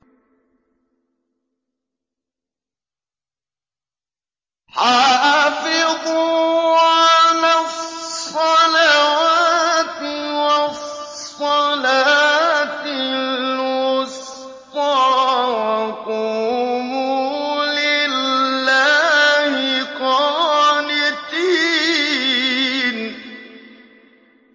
حَافِظُوا عَلَى الصَّلَوَاتِ وَالصَّلَاةِ الْوُسْطَىٰ وَقُومُوا لِلَّهِ قَانِتِينَ